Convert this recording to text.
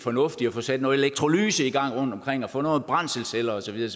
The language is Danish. fornuftigt at få sat noget elektrolyse i gang rundtomkring og få nogle brændselsceller og så videre